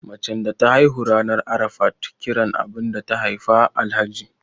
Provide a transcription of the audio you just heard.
macen da ta haihu ranar Arafat kira abinda ta Haifa Alhaji